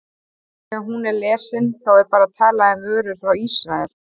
Þegar hún er lesin, þá er bara talað um vörur frá Ísrael?